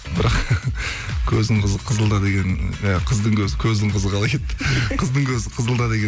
бірақ көздің қызы қызылда деген і қыздың көзі көздің қызы қалай кетті қыздың көзі қызылда